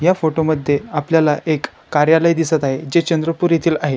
या फोटो मध्ये आपल्याला एक कार्यालय दिसत आहे जे चंद्रपुर येतील आहे.